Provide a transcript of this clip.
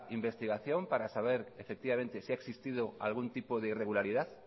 investigación para saber efectivamente si ha existido algún tipo de irregularidad